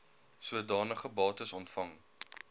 sodanige bates ontvang